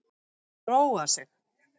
Róa sig.